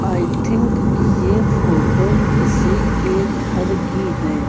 आई think ये photo किसी के घर की हैं।